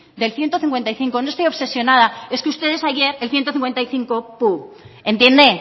del ciento cincuenta y cinco no estoy obsesionada es que ustedes ayer el ciento cincuenta y cinco pum entiende